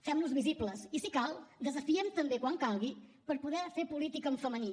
fem nos visibles i si cal desafiem també quan calgui per poder fer política en femení